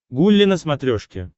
гулли на смотрешке